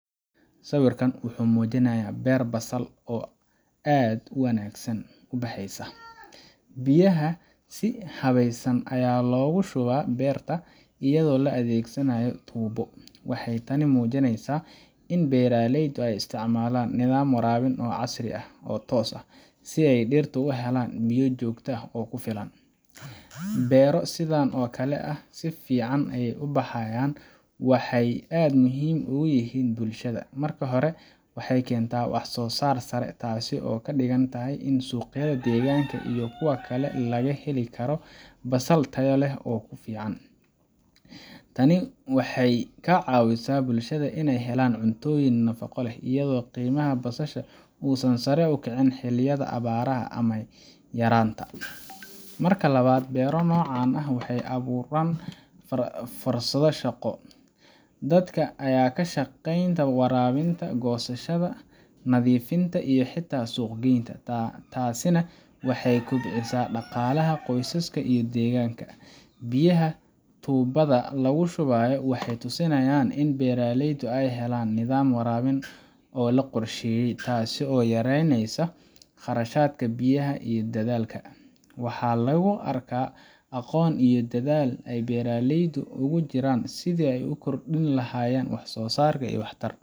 Sawiirkaan wuxuu mujinaaya beer basal, biyaha ayaa si fican loo siiye, waxeey muujineysa in beeraleyda aay isticmaalan nidaam fican, inaay dirta helaan biya kufilan, waxeey aad muhiim ugu yihiin bulshada, waxeey keenta wax soo saar sare taasi oo kadigan tahay, tani waxeey kacawisa bulshada inaay helaan cunto nafaqo leh, waxeey abuuran fursada shaqo, nadiifin iyo suuq green, biyaha waxeey tusinayan nidaam warabin, waxa lagu arkaa aqoon iyo dadaal aay beeraleyda kujiraan.